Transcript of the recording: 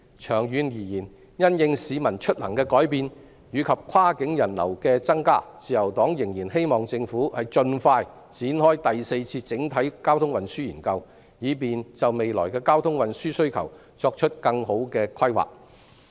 長遠而言，因應市民出行的改變及跨境人流的增加，自由黨仍然希望政府盡快展開第四次整體運輸研究，以便就未來的交通運輸需求作更好的規劃。